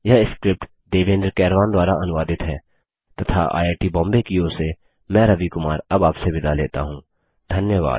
यह स्क्रिप्ट देवेन्द्र कैरवान द्वारा अनुवादित है तथा आईआई टी बॉम्बे की ओर से मैं रवि कुमार अब आपसे विदा लेता हूँ धन्यवाद